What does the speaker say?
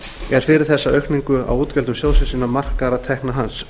er fyrir þessa aukningu á útgjöldum sjóðsins innan markaðra tekna hans